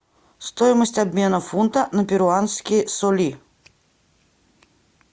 стоимость обмена фунта на перуанские соли